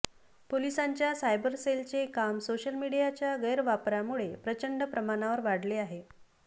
पोलिसांच्या सायबर सेलचे काम सोशल मीडियाच्या गैरवापरामुळे प्रचंड प्रमाणावर वाढले आहे